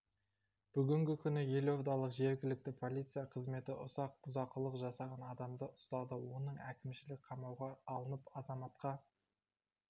бүгінгі күні елордалық жергілікті полиция қызметі ұсақ бұзақылық жасаған адамды ұстады оның әкімшілік қамауға алынып азаматқа